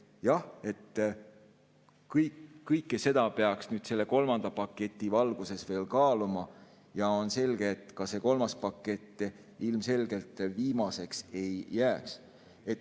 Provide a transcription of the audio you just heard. Jah, kõike seda peaks nüüd selle kolmanda paketi valguses kaaluma ja on selge, et ka see kolmas pakett ilmselgelt viimaseks ei jää.